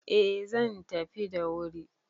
Eh zan tafi da wuri